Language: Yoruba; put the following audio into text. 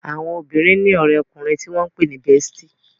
Àwọn obìrin ní òré ọkùnrin tí wón pé ní "bestie"